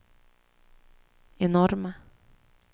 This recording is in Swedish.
enorma